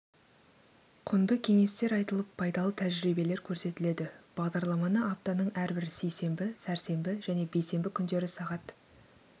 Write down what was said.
құнды кеңестер айтылып пайдалы тәжірибелер көрсетіледі бағдарламаны аптаның әрбір сейсенбі сәрсенбі және бейсенбі күндері сағат